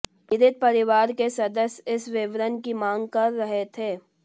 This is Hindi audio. पीड़ित परिवार के सदस्य इस विवरण की मांग कर रहे थे